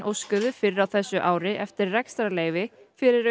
óskuðu fyrr á þessu ári eftir rekstrarleyfi fyrir